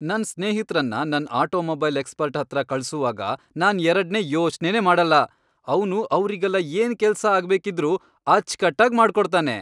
ನನ್ ಸ್ನೇಹಿತ್ರನ್ನ ನನ್ ಆಟೋಮೊಬೈಲ್ ಎಕ್ಸ್ಪರ್ಟ್ ಹತ್ರ ಕಳ್ಸುವಾಗ ನಾನ್ ಎರಡ್ನೇ ಯೋಚ್ನೆನೇ ಮಾಡಲ್ಲ, ಅವ್ನು ಅವ್ರಿಗೆಲ್ಲ ಏನ್ ಕೆಲ್ಸ ಆಗ್ಬೇಕಿದ್ರೂ ಅಚ್ಚ್ಕಟ್ಟಾಗ್ ಮಾಡ್ಕೊಡ್ತಾನೆ.